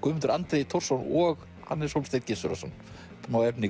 Guðmundur Andri Thorsson og Hannes Hólmstein Gissurarson smá efni